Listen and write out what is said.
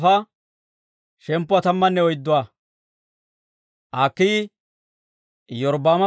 He wode Iyorbbaama na'ay Abii harggeedda.